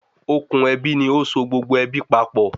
Òkun ebi ní óso gbogbo ebi papọ